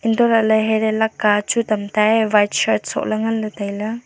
untohley herey leka chu tamta e white shirt sohley nganley tailey.